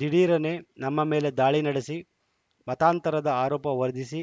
ದಿಢೀರನೆ ನಮ್ಮ ಮೇಲೆ ದಾಳಿ ನಡೆಸಿ ಮತಾಂತರದ ಆರೋಪ ವರ್ದಿ ಸಿ